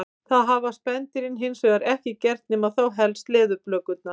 Það hafa spendýrin hins vegar ekki gert nema þá helst leðurblökurnar.